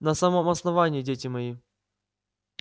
на самом основании дети мои